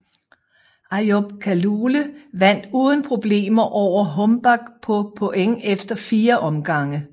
Ayub Kalule vandt uden problemer over Hombach på point efter 4 omgange